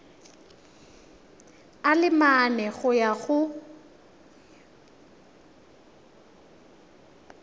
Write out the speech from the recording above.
a le mane go ya